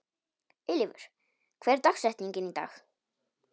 Eilífur, hver er dagsetningin í dag?